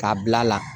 K'a bil'a la